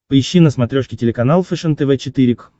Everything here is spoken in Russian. поищи на смотрешке телеканал фэшен тв четыре к